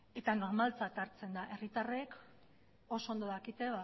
eta normaltzat hartzen da herritarrek oso ondo dakite